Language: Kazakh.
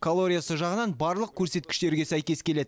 калориясы жағынан барлық көрсеткіштерге сәйкес келеді